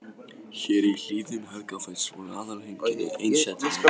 Hér í hlíðum Helgafells voru aðalheimkynni einsetumanna.